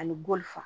Ani bɔli faa